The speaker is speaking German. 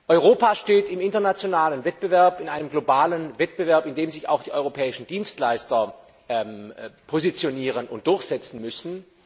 Europa steht im internationalen Wettbewerb, in einem globalen Wettbewerb, in dem sich auch die europäischen Dienstleister positionieren und durchsetzen müssen.